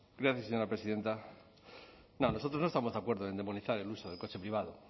gracias señora presidenta nosotros no estamos de acuerdo en demonizar el uso del coche privado